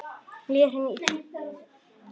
Henni líður illa.